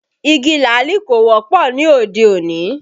Igi làálì kò wọ́pọ̀ ní òde òní